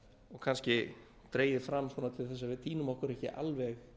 og kannski dregið fram til að við týnum okkur ekki alveg